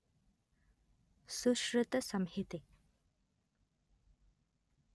ಸುಶ್ರುತಸಂಹಿತೆ